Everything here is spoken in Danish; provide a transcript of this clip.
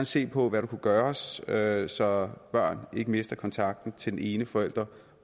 ser på hvad der kunne gøres gøres så børn ikke mister kontakten til den ene forælder